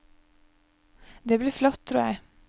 Det blir flott, tror jeg.